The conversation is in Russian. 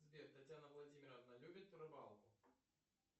сбер татьяна владимировна любит рыбалку